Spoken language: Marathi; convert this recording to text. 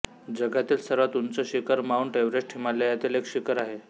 जगातील सर्वात उंच शिखर माउंट एव्हरेस्ट हिमालयातील एक शिखर आहे